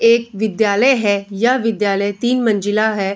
एक विद्यालय है यह विद्यालय तीन मंजिला है।